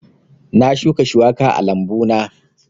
Na shuka shuwaka a lambu na